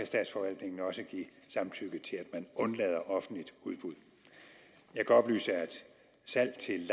statsforvaltningen også give samtykke til at man undlader offentligt udbud jeg kan oplyse at salg til